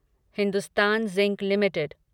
Hindustan zinc limited